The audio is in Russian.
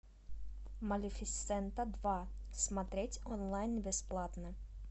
малефисента два смотреть онлайн бесплатно